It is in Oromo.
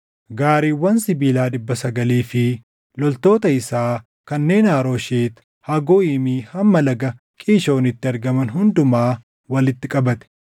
gaariiwwan sibiilaa dhibba sagalii fi loltoota isaa kanneen Harooshet Hagooyimii hamma Laga Qiishoonitti argaman hundumaa walitti qabate.